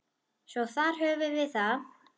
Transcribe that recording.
Svo þar höfum við það.